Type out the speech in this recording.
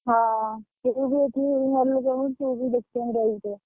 ହଁ ତୁ ବି ଏଇଠି ଘରେ ରହିବୁ ତୁ ବି ଦେଖି ଚାହିଁକି ରହିବୁ।